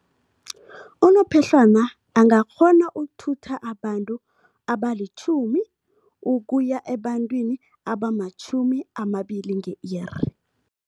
Unophehlwana angakghona ukuthutha abantu abalitjhumi ukuya ebantwini abamatjhumi amabili nge-iri.